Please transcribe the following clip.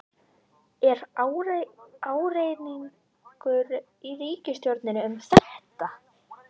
Er ágreiningur í ríkisstjórninni um þetta?